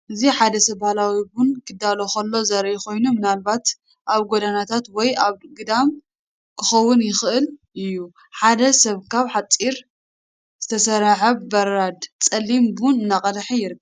እዚ ሓደ ሰብ ባህላዊ ቡን ኬዳሉ ኸሎ ዘርኢ ኮይኑ ምናልባት ኣብ ጐደናታት ወይ ኣብ ግዳም ኪኸውን ይኽእል እዩ ።ሓደ ሰብ ካብ ሓጺን ዝተሰርሐ በራድ ጸሊም ቡን እናቀደሐ ይርከብ።